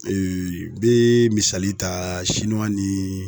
bee misali taa nii